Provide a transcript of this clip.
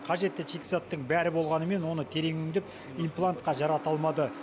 қажетті шикізаттың бәрі болғанымен оны терең өңдеп имплантқа жарата алмады